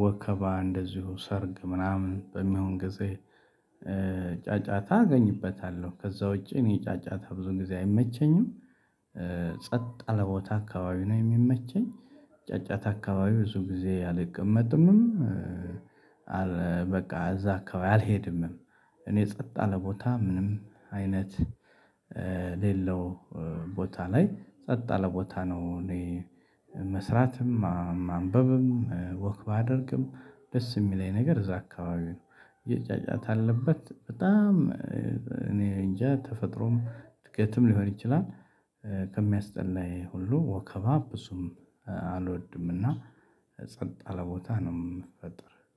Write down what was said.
ወከባ እንደዚሁ ሰርግ ምናምን በሚሆን ጊዜ። ጫጫታ አገኝበታለሁ ከዛ ውጪ እኔ ጫጫታ ብዙ ጊዜ አይመቸኝም። ጸጥ ያለ ቦታ አካባቢ ነው የሚመቸኝ። ጫጫታ አካባቢ ብዙ ጊዜ አልቀመጥምም። አል በቃ እዛ አካባቢ አልሄድም። እኔ ጸጥ ያለ ቦታ ምንም አይነት የሌለው ቦታ ላይ ጸጥ ያለ ቦታ ነው እኔ። መስራትም ማንበብም ወክ ባደርግም ደስ የሚለኝ ነገር እዛ አካባቢ ነው። የጫጫታ ያለበት በጣም። እኔ እንጃ ተፈጥሮም እድገትም ሊሆን ይችላል። ከሚያስጠላኝ ሁሉ ወከባ ብዙም አልወድም እና። ጸጥ ያለ ቦታ ነው የምፈጠር